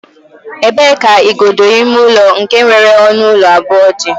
E bee ka igodo ime ụlọ nke nwere ọnụ ụlọ abụọ dị?